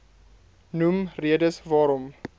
noem redes waarom